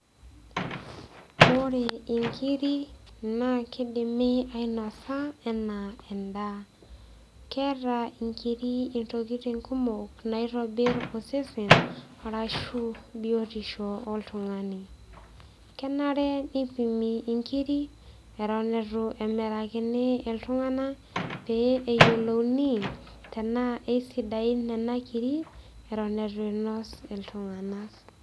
Ore inkiri naa kidimi ainasa enaa endaa keeta inkiri intokitin kumok naitobirr osesen arashu biotisho oltung'ani kenare nipimi inkiri etin etu emirakini iltung'ana pee eyiolouni tenaa eisidain nena kiri eton etu inos iltung'anak.